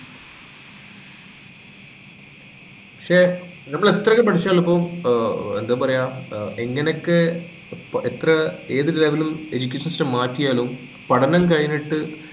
പക്ഷെ നമ്മൾ എത്രയൊക്കെ പഠിച്ചാലും ഇപ്പൊ ഏർ എന്താ പറയുക ഏർ എങ്ങനെയൊക്കെ എത്ര ഏത് level ഉം educational system മാറ്റിയാലും പഠനം കഴിഞ്ഞിട്ട്